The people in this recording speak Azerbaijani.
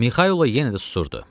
Mixaylov yenə də susurdu.